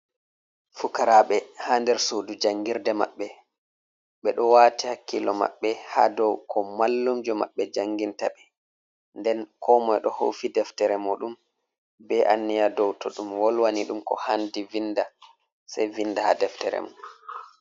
Fukaraaɓe haa nder suudu jangirde maɓɓe, ɓe ɗo waati hakkilo maɓɓe, haa dow ko mallumjo maɓɓe janginta ɓe. Nden komoy ɗo howfi deftere muuɗum ,be anniya dow to ɗum wolwani ɗum ko haandi vinda ,sey vinda haa deftere mum.